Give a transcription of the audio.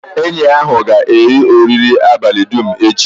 Enyi ahụ ga-eri oriri abalị dum echi.